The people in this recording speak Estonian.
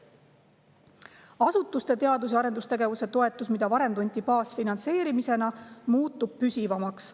Asutuste teadus‑ ja arendustegevuse toetus, mida varem tunti baasfinantseerimisena, muutub püsivamaks.